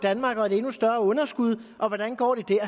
danmark og et endnu større underskud og hvordan går det der